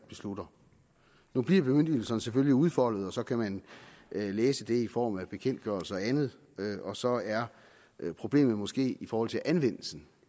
beslutter nu bliver bemyndigelserne selvfølgelig udfoldet og så kan man læse det i form af bekendtgørelser og andet og så er problemet måske i forhold til anvendelsen